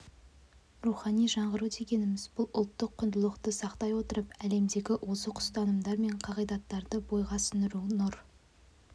рухани жаңғыру дегеніміз бұл ұлттық құндылықты сақтай отырып әлемдегі озық ұстанымдар мен қағидаттарды бойға сіңіру нұр